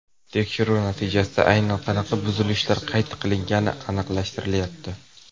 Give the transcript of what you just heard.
Tekshiruv natijasida aynan qanaqa buzilishlar qayd qilingani aniqlashtirilmayapti.